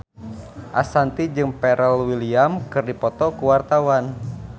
Ashanti jeung Pharrell Williams keur dipoto ku wartawan